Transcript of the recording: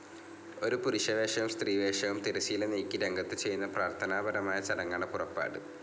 ഒരു പുരുഷവേഷവും സ്ത്രീവേഷവും തിരശീല നീക്കി രംഗത്തു ചെയ്യുന്ന പ്രാർത്ഥനാപരമായ ചടങ്ങാണ് പുറപ്പാട്.